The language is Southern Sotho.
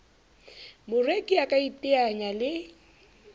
moreki a ka iteanyang le